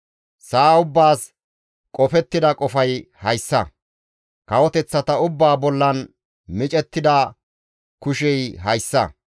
Sa7a ubbaas qofettida qofay hayssa; kawoteththata ubbaa bollan micettida kushey hayssa.